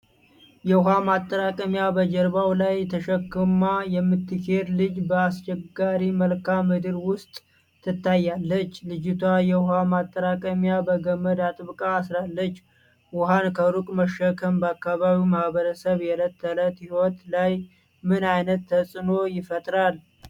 የውሃ ማጠራቀሚያ በጀርባዋ ላይ ተሸክማ የምትሄድ ልጅ በአስቸጋሪ መልክዓ ምድር ውስጥ ትታያለች። ልጅቷ የውሃውን ማጠራቀሚያ በገመድ አጥብቃ አስራለች። ውሃን ከሩቅ መሸከም በአካባቢው ማህበረሰብ የዕለት ተዕለት ሕይወት ላይ ምን ዓይነት ተጽእኖ ይፈጥራል?